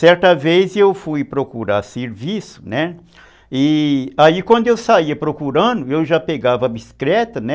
Certa vez eu fui procurar serviço, né, e aí quando eu saía procurando, eu já pegava a bicicleta, né,